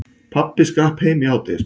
Pabbi skrapp heim í hádegismat.